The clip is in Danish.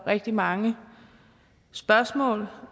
rigtig mange spørgsmål